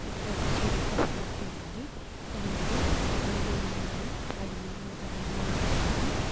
ఇక్కడ ఒక చెరువు కనబడుతూ ఉంది దాంట్లో నీళ్లు ఉన్నాయి అవి నీలం కలర్ లో ఉన్నాయి.